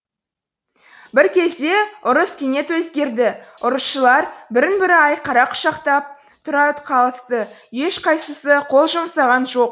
бір кезде ұрыс кенет өзгерді ұрысшылар бірін бірі айқара құшақтап тұра қалысты ешқайсысы қол жұмсаған жоқ